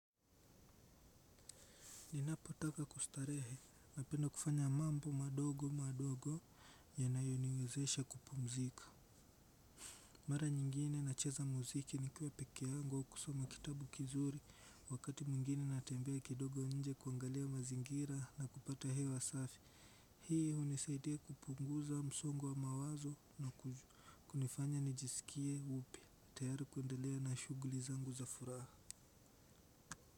Ninapo taka kustarehe napenda kufanya mambo madogo madogo yanayoniwezesha kupumzika mara nyingine nacheza muziki nikiwa peke yangu au kusoma kitabu kizuri wakati mwingine natembea kidogo nje kuangalia mazingira na kupata hewa safi hii unisaidia kupunguza msongo wa mawazo na kunifanya nijisikie upya tayari kuendelea na shuguli zangu za furaha.